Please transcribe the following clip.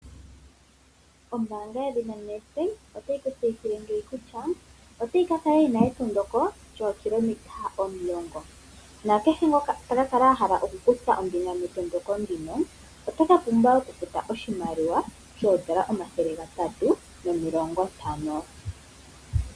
Ombaanga yedhina Nedbank otayi ku tseyithile kutya otayi ka kala yi na ethigathano lyokumatuka lyookilometa omulongo. Nakehe ngoka ta ka kala a hala okukutha ombinga metondoko ndika ota ka pumbwa okufuta oshimaliwa shooN$ 350.